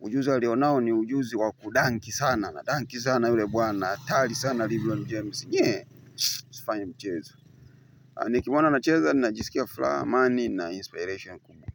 ujuzi alionao ni ujuzi wa kudanki sana anadanki sana yule bwana atali sana Lebron James usifanye mchezo. Nikimwona anacheza ninajisikia fulaha amani na inspiration kubwa.